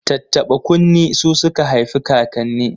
Tattaɓa kunne su suka haifikakanni